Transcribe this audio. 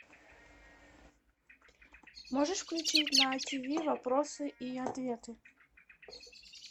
можешь включить на тиви вопросы и ответы